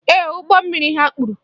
Ee, ụgbọ mmiri ha kpuru.